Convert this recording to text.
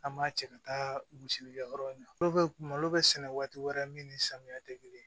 An b'a cɛ ka taa gosili kɛ yɔrɔ in na malo bɛ sɛnɛ waati wɛrɛ min ni samiya tɛ kelen ye